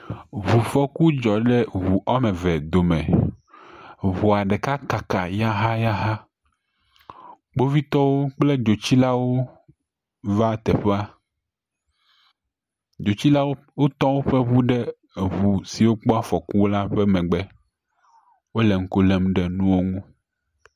Ŋufɔku dzɔ ɖe ŋu ame eve dome. Ŋua ɖeka kaka yahayaha. Kpovitɔwo kple dzotsilawo va teƒe. Dzotsilawo tɔ woƒe ŋu ɖe ŋu siwo kpɔ afɔku la ƒe megbe. Wole ŋku lem ɖe nuwo ŋu.